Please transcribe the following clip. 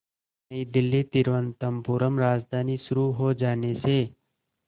नई दिल्ली तिरुवनंतपुरम राजधानी शुरू हो जाने से